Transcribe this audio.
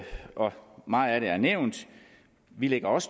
meget af det er nævnt vi lægger også